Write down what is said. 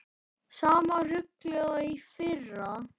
Sama ruglið og í fyrra?